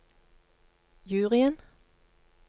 juryen